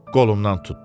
Qolumdan tutdu.